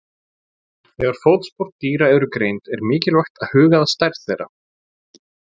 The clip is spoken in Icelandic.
Þegar fótspor dýra eru greind er mikilvægt að huga að stærð þeirra.